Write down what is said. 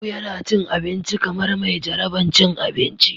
Abu yana cin abinci kamar mai jaraban cin abinci.